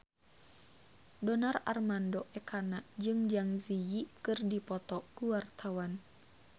Donar Armando Ekana jeung Zang Zi Yi keur dipoto ku wartawan